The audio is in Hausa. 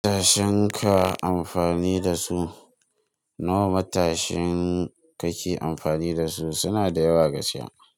Matashin ka amfani da su. Nawa matashin ka ke amfani da su, suna da yawa gaskiya.